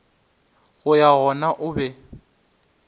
go ya gona o be